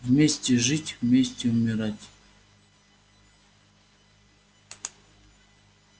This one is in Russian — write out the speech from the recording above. вместе жить вместе умирать